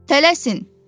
Tələsin!